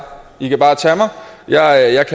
i kan bare tage mig og jeg